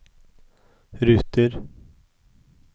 ruter